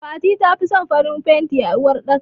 Fati tafi son farin fanti a uwar ɗaka.